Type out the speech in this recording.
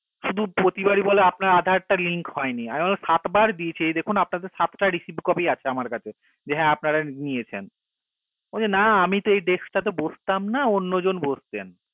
শুধু প্রতিবারি বলে আপনার আধার টা link হয়নি আমি বললাম সাত বার দিয়েছি দেখুন আপনাদের সাতটা received copy আছে আমার কাছে যে হা আপনারা নিয়েছেন বলছে না আমি তো এই desk টা তে বসতাম না অন্য জন বসতেন